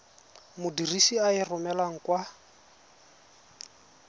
modirisi a e romelang kwa